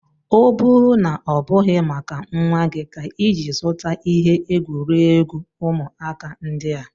O bu na obughị maka nwa gị ka iji zuta ihe egwuregwu ụmụaka ndị a?